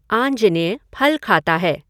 आञ्जनेय फल खाता है।